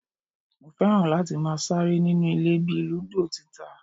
Mo fẹ́ràn láti máa ṣeré inú ilé bíi ludo tita